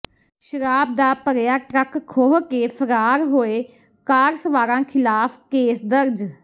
ਸ਼ਰਾਬ ਦਾ ਭਰਿਆ ਟਰੱਕ ਖੋਹ ਕੇ ਫ਼ਰਾਰ ਹੋਏ ਕਾਰ ਸਵਾਰਾਂ ਖ਼ਿਲਾਫ਼ ਕੇਸ ਦਰਜ